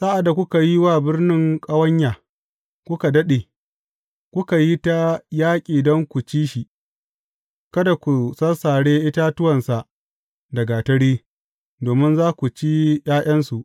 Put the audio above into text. Sa’ad da kuka yi wa birni ƙawanya kuka daɗe, kuka yi ta yaƙi don ku ci shi, kada ku sassare itatuwansa da gatari, domin za ku ci ’ya’yansu.